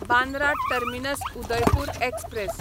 Bandra terminus Udaipur express